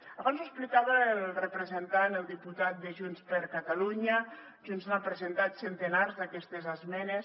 abans ho explicava el representant el diputat de junts per catalunya junts n’ha presentat centenars d’aquestes esmenes